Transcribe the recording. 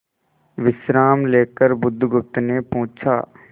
विश्राम लेकर बुधगुप्त ने पूछा